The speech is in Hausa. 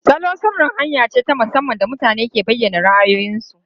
Salon sirri hanya ce ta musamman da mutane ke bayyana ra'ayoyinsu.